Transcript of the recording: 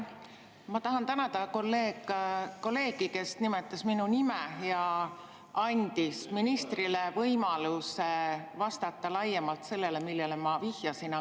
Ma tahan tänada kolleegi, kes nimetas minu nime ja andis ministrile võimaluse vastata laiemalt sellele, millele ma vihjasin.